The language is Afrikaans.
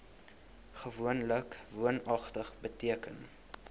gewoonlik woonagtig beteken